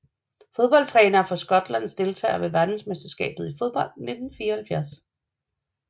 Fodboldtrænere fra Skotland Deltagere ved verdensmesterskabet i fodbold 1974